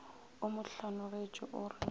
o mo hlanogetše o re